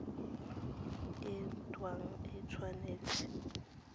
e nt hwa e tshwanetse